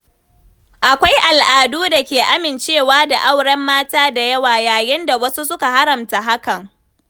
Akwai al’adu da ke amincewa da auren mata da yawa, yayin da wasu suka haramta hakan.